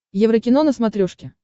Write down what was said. еврокино на смотрешке